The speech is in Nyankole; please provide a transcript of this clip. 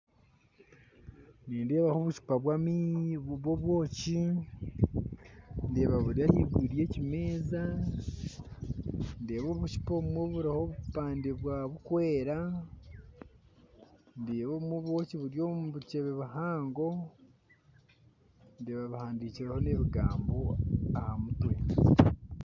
Nindaba obucupa bwani burimu obwoki ndeebabudyahiguru yekimeza ndeeba obucupa obumwe buriho obupande burikwera ndeeba obwoki obumwe buri omubiceebe bihango ndeeba bihandikireho nebigambo ahamutwe